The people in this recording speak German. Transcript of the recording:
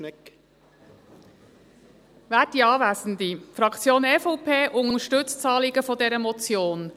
Die Fraktion EVP unterstützt das Anliegen dieser Motion.